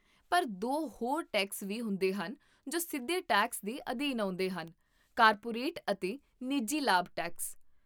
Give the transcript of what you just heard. ਪਰ ਦੋ ਹੋਰ ਟੈਕਸ ਵੀ ਹੁੰਦੇ ਹਨ ਜੋ ਸਿੱਧੇ ਟੈਕਸ ਦੇ ਅਧੀਨ ਆਉਂਦੇਹਨ, ਕਾਰਪੋਰੇਟ ਅਤੇ ਨਿੱਜੀ ਲਾਭ ਟੈਕਸ